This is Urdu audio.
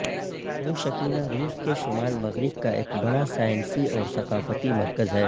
بابوشکینا روس کے شمال مغرب کا ایک بڑا سائنسی اور ثقافتی مرکز ہے